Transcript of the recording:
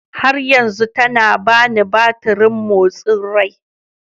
har yanzu tana bani batirin motsin rai